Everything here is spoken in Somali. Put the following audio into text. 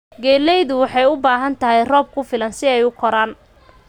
Galleydu waxay u baahan tahay roob ku filan si ay u koraan.